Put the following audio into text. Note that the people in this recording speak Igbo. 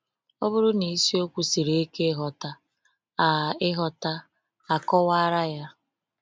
Ọ bụrụ na isiokwu siri ike ịghọta, a ịghọta, a kọwara ya.